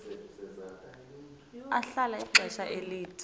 ahlala ixesha elide